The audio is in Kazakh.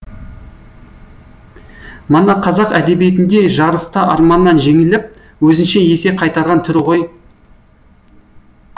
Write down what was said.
мана қазақ әдебиетінде жарыста арманнан жеңіліп өзінше есе қайтарған түрі ғой